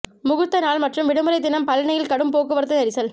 முகூர்த்த நாள் மற்றும் விடுமுறை தினம் பழநியில் கடும் போக்குவரத்து நெரிசல்